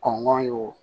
Kɔnɔn